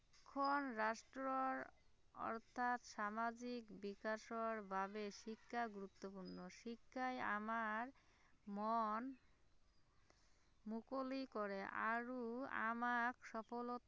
এইখন ৰাষ্ট্ৰৰ অৰ্থাৎ সামাজিক বিকাশৰ বাবে শিক্ষা গুৰুত্বপূৰ্ণ শিক্ষাই আমাৰ মন, মুকলি কৰে আৰু আমাক সফলতা